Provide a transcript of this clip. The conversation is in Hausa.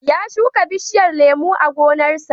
Ya shuka bishiyar lemo a gonarsa.